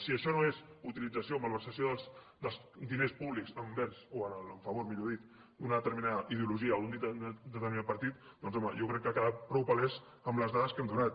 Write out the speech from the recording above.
si això no és utilització malversació dels diners públics envers o a favor millor dit d’una determinada ideologia o d’un determinat partit doncs home jo crec que ha quedat prou palès amb les dades que hem donat